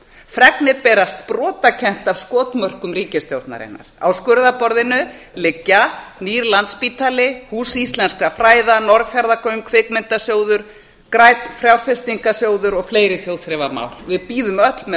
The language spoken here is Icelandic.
fregnir berast brotakennt af skotmörkum ríkisstjórnarinnar á skurðarborðinu liggja nýr landspítali hús íslenskra fræða norðfjarðargöng kvikmyndasjóður grænn fjárfestingarsjóður og fleiri þjóðþrifamál við bíðum öll með